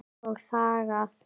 Og þagað.